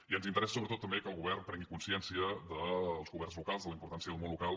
i ens interessa sobretot també que el govern pren·gui consciència dels governs locals de la importància del món local